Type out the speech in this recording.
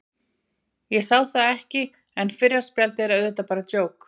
Ég sá það ekki, en fyrra spjaldið er auðvitað bara djók.